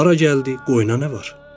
Hara gəldi, qoyuna nə var?